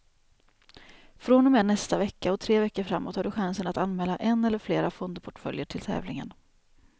Från och med nästa vecka och tre veckor framåt har du chansen att anmäla en eller flera fondportföljer till tävlingen.